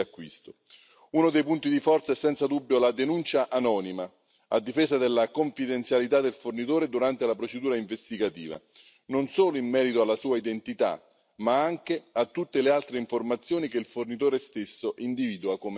Uno dei punti di forza è senza dubbio la denuncia anonima a difesa della confidenzialità del fornitore durante la procedura investigativa non solo in merito alla sua identità, ma anche a tutte le altre informazioni che il fornitore stesso individua come sensibili.